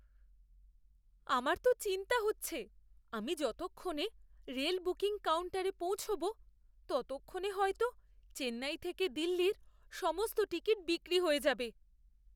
আমার তো চিন্তা হচ্ছে আমি যতক্ষণে রেল বুকিং কাউন্টারে পৌঁছব ততক্ষণে হয়তো চেন্নাই থেকে দিল্লির সমস্ত টিকিট বিক্রি হয়ে যাবে।